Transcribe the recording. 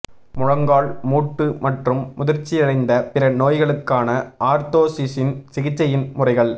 முழங்கால் மூட்டு மற்றும் முதிர்ச்சியடைந்த பிற நோய்களுக்கான ஆர்த்தோசிஸின் சிகிச்சையின் முறைகள்